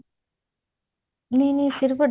ਨਹੀਂ ਨਹੀਂ ਫ਼ੇਰ ਵੱਡਾ